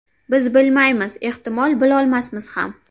Biz bilmaymiz, ehtimol bilolmasmiz ham.